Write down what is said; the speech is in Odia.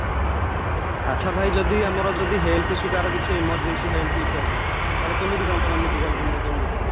ଆଛା ଭାଇ ଯଦି ଆମର ଯଦି health issue କାହାର ଯଦି emergency health issue ଆସେ ତାହାଲେ ତମେ କେମିତି କ'ଣ medicalକୁ ନିଅ କେମିତି କ'ଣ